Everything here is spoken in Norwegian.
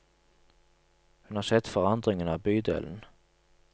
Hun har sett forandringen av bydelen.